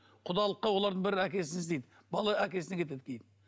құдалыққа олардың бәрі әкесін іздейді бала әкесіне кетеді кейін